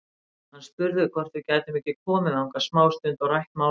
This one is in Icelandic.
Hann spurði hvort við gætum ekki komið þangað smástund og rætt málin.